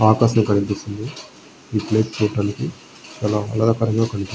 ఆకాశం కనిపిస్తుంది. ఈ ప్లేస్ చూడడానికి చాలా ఆహ్లాదకరంగా కనిపి--